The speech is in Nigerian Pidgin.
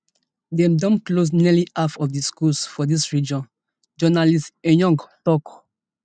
dem don close nearly half of di schools for dis region journalist eyong tok